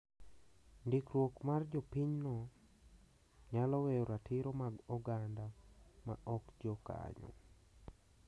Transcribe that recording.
Ndikruok mar jopinyno nyalo weyo ratiro mag oganda ma ok jo kanyo.